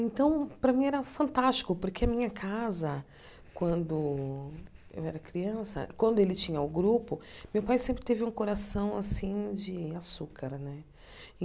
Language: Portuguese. Então, para mim, era fantástico, porque a minha casa, quando eu era criança, quando ele tinha o grupo, meu pai sempre teve um coração assim de açúcar né.